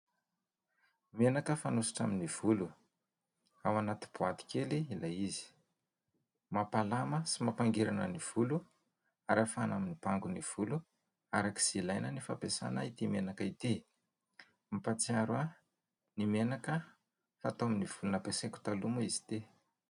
Menaka fanosotra amin'ny volo ao anaty boaty kely ilay izy. Mampalama sy mampangirana ny volo ary ahafahana mibango ny volo arak'izay ilaina ny fampiasana ity menaka ity. Mampatsiaro ahy ny menaka natao tamin'ny volo, nampiasaiko taloha moa izy ity.